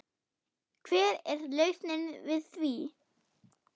Hver er lausnin við því?